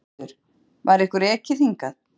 Ingveldur: Var ykkur ekið hingað?